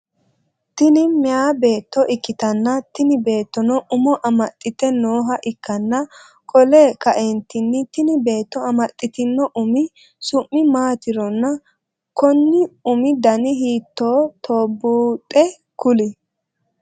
Tini meeyaa beetto ikkitanna tini beettono umo amaxite nooha ikkana qole kaeenttinni tini beetto amaxitinno Umi summi maatironna Konni Umi Dani hiitoohotobuuxe kuli?